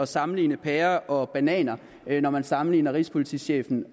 sammenligne pærer og bananer når man sammenligner rigspolitichefen